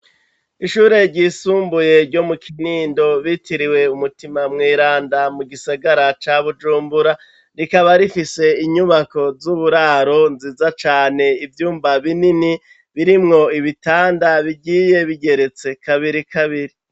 Ishure ryisumbuye ryo mu Kinindo ryitiriwe Mutima mweranda mu gisagara ca Bujumbura rikaba rifise inyubako z'uburaro nziza cane ivyumba binini birimwo ibitanda bigiye bigeretse kabiri kabiri.